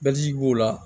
Bɛji b'o la